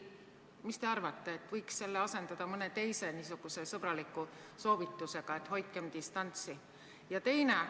Mis te arvate, äkki võiks selle asendada mõne teise niisuguse sõbraliku soovitusega, et hoidkem distantsi?